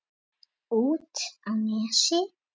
Út á Nesi?